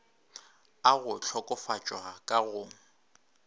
a go hlokofatšwa ka go